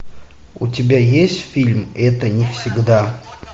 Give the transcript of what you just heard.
у тебя есть фильм это не всегда